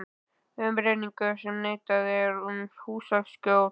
Umrenningur sem neitað er um húsaskjól.